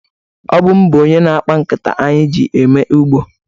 Ọ bụ m bụ onye na-akpa nkata anyị ji eme ugbo.